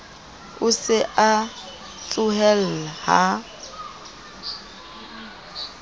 o se a tsohella ha